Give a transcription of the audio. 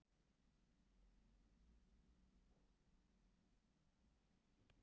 Klapparstíg